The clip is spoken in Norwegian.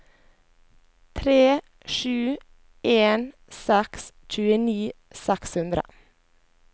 tre sju en seks tjueni seks hundre